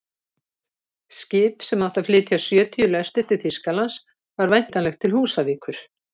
Skip sem átti að flytja sjötíu lestir til Þýskalands var væntanlegt til Húsavíkur.